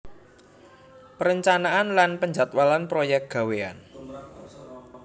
Perencanaan lan penjadwalan proyek gawéyan